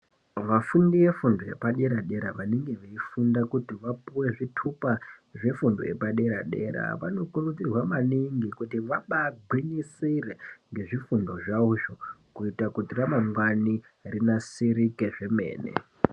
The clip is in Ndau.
Vafundi vefundo yepaderadera vanenge veifunda kuti vapiwe zvitupa zvefundo yepaderadera vanokurudzirwa maningi kuti vabagwinyisire ngezvifundo zvawozvo kuite kuti ramangwani rinasirike zvemene.